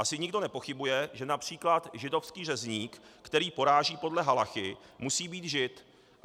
Asi nikdo nepochybuje, že například židovský řezník, který poráží podle halachy, musí být žid.